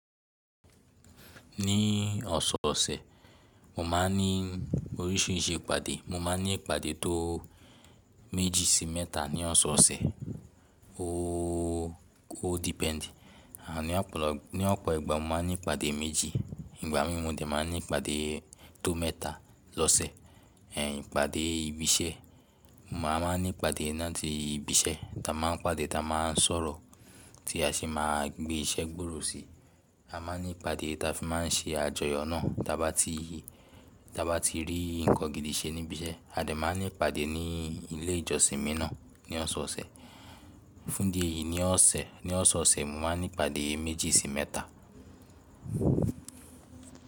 Ní ọ̀sọ̀ọ̀sẹ̀, mo má n ní oríṣìíríṣìí ìpàdé. Mo má n ní ìpàdé tó méjì sí mẹ́ta ní ọ̀sọ̀ọ̀sẹ̀. Ó, ó depend. Àní àpọ̀, ní ọ̀pọ̀ ìgbà mo má n ní ìpàdé méjì. Ìgbà mí mò de má n ní ìpàdé tó mẹ́ta lọ́sẹ̀. Ẹ̀ ìpàdé ibi iṣẹ́, mo à má n ní ìpàdé láti ibi iṣẹ́. Ta má n pàdé ta má n sọ̀rọ̀ tí a sì má gbé iṣẹ́ gbòòrò sí i. A má n ní ìpàdé ta fi má n ṣe àjọyọ̀ náà. Ta bá ti, ta bá ti rí nǹkan gidi ṣe ní ibi iṣẹ́, a dè má n ní ìpàdé ní ilé ìjọsìn mí náà ní ọ̀sọ̀ọ̀sẹ̀. Fún di èyí ní ọ̀sẹ̀, ní ọ̀sọ̀ọ̀sẹ̀ mo má n ní ìpàdé méjì sí mẹ́ta.